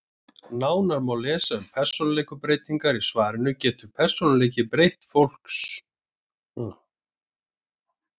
Nánar má lesa um persónuleikabreytingar í svarinu Getur persónuleiki fólks gerbreyst?